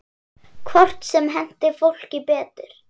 Hvort sem henti fólki betur.